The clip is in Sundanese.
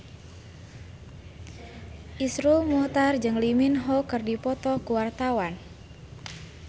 Iszur Muchtar jeung Lee Min Ho keur dipoto ku wartawan